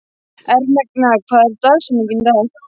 Ermenga, hver er dagsetningin í dag?